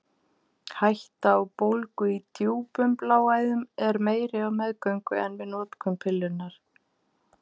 Hætta á bólgu í djúpum bláæðum er meiri á meðgöngu en við notkun pillunnar.